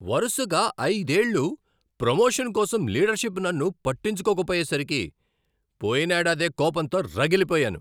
వరుసగా ఐదేళ్ళు ప్రమోషన్ కోసం లీడర్షిప్ నన్ను పట్టించుకోకపోయేసరికి పోయినేడాది కోపంతో రగిలిపోయాను.